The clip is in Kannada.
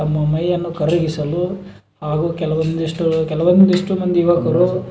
ತಮ್ಮ ಮೈಯನ್ನು ಕರಗಿಸಲು ಹಾಗು ಕೆಲವೊಂದಿಷ್ಟು ಕೆಲವೊಂದಿಷ್ಟು ಮಂದಿ ಯುವಕರು.